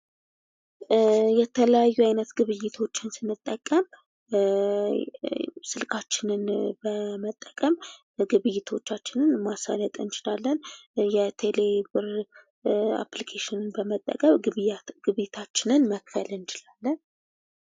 የተለያዩ አይነት ግብይቶችን ስንጠቀም ስልካችንን በመጠቀም ግብይቶቻችንን ማሳለጥ እንችላለን። የቴሌ ብር አፕሊኬሽንን በመጠቀም ግብይታችንን መክፈል እንችላለን።